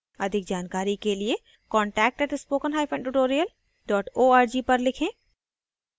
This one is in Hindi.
अधिक जानकारी के लिए contact @spokentutorial org पर लिखें